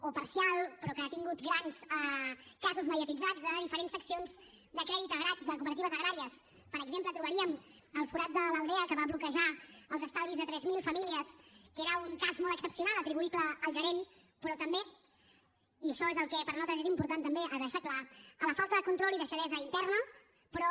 o parcial però que ha tingut grans casos mediatitzats de diferents seccions de crèdit de cooperatives agràries per exemple trobaríem el forat de l’aldea que va bloquejar els estalvis de tres mil famílies que era un cas molt excepcional atribuïble al gerent però també i això és el que per nosaltres és important també de deixar clar amb la falta de control i deixadesa interna però